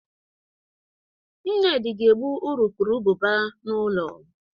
Nnedi ga egbu urukurubụba n'ụlọ